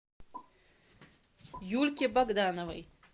юльке богдановой